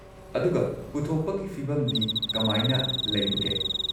ꯑꯗꯨꯒ ꯄꯨꯊꯣꯛꯄꯒꯤ ꯐꯤꯚꯝꯗꯤ ꯀꯃꯥꯏꯅ ꯂꯩꯕꯒꯦ?